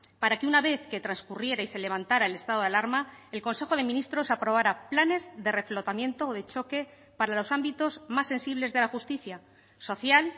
para que una vez que transcurriera y se levantara el estado de alarma el consejo de ministros aprobara planes de reflotamiento o de choque para los ámbitos más sensibles de la justicia social